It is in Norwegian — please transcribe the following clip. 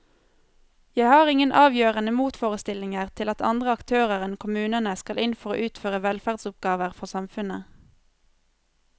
Jeg har ingen avgjørende motforestillinger til at andre aktører enn kommunene skal inn for å utføre velferdsoppgaver for samfunnet.